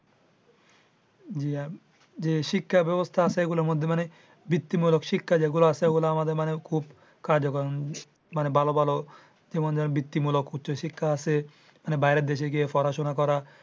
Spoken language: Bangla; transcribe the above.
যে শিক্ষা ব্যবস্থা আছে এইগুলার মধ্যে মানে বৃত্তিমূলক শিক্ষা যেগুলা আছে ঐগুলা আমাদের খুব কাৰ্যকর। মানে ভালো ভালো বৃত্তিমূলক উচ্চ শিক্ষা আছে। মানে বাইরের দেশে গিয়ে পড়াশুনা করা।